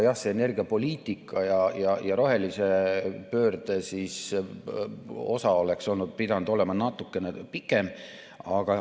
Energiapoliitika ja rohelise pöörde osa oleks pidanud olema natukene pikem.